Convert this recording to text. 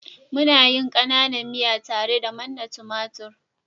muna yin kananan miya tare da manna tumatir